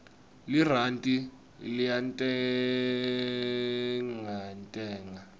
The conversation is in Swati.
lirandi liyantengantenga